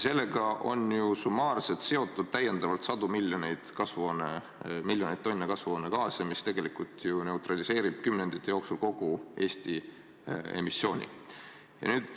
Sellega on ju summaarselt seotud täiendavalt sadu miljoneid tonne kasvuhoonegaase, mis tegelikult ju neutraliseeriks kümnendite jooksul kogu Eesti emissiooni.